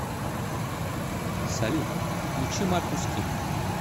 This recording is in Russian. салют включи маркус кинг